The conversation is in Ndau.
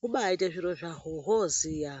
hubaite zviro zvaho hwoziya.